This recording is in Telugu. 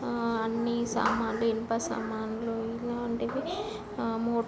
ఆ అన్ని సమన్లు ఇనుప సమన్లు ఇలాంటివి ]